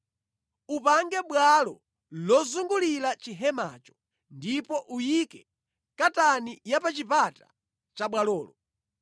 Upange bwalo lozungulira chihemacho ndipo uyike katani ya pa chipata cha bwalolo.